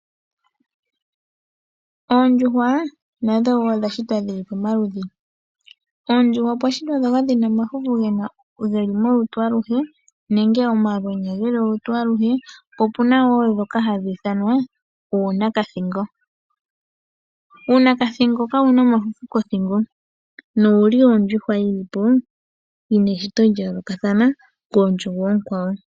Oondjuhwa nadho wo odha shitwa dhili pamaludhi. Oondjuhwa opwa shitwa ndhoka dhina omafufu geli olutu aluhe, po opuna ndhimwe hadhi ithanwa oonakathingo. Oonakathingo ka ye na omafufu kothingo noye li ya yooloka koondjuhwa oonkwawo.